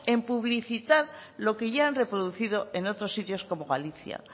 en publicitar lo que ya han reproducido en otros sitios como galicia